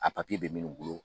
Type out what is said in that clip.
A bɛ minnu bolo